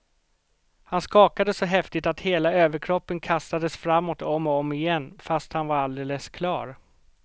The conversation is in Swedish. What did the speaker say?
Han skakade så häftigt att hela överkroppen kastades framåt om och om igen, fast han var alldeles klar.